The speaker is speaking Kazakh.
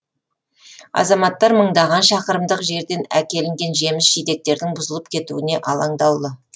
азаматтар мыңдаған шақырымдық жерден әкелінген жеміс жидектердің бұзылып кетуіне алаңдаулы